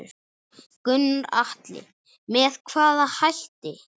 Gunnar Atli: Með hvaða hætti?